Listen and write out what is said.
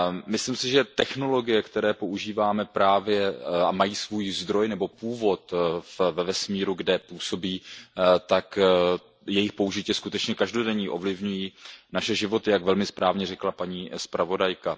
Myslím si, že technologie, které používáme a které mají svůj zdroj nebo původ ve vesmíru, kde působí, tak jejich použití je skutečně každodenní, ovlivňuje naše životy, jak velmi správně řekla paní zpravodajka.